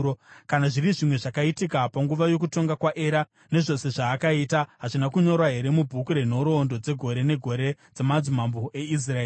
Kana zviri zvimwe zvakaitika panguva yokutonga kwaEra, nezvose zvaakaita, hazvina kunyorwa here mubhuku renhoroondo dzegore negore dzamadzimambo eIsraeri?